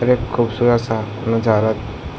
और एक खुबसूरत सा नज़ारा --